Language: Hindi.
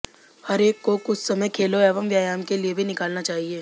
हरेक को कुछ समय खेलों एवं व्यायाम के लिए भी निकालना चाहिए